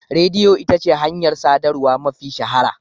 Rediyo ita ce hanyar sadarwa mafi shahara.